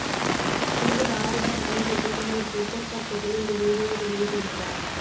நடிகர் ஆர்யா சமீபத்தில் தனது டிவிட்டர் பக்கத்தில் ஒரு வீடியோ வெளியிட்டிருந்தார்